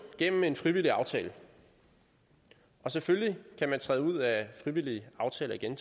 gennem en frivillig aftale og selvfølgelig kan man træde ud af frivillige aftaler igen